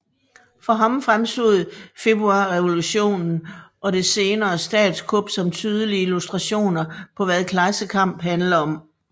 For ham fremstod Februarrevolutionen og det senere statskup som tydelige illustrationer på hvad klassekamp handler om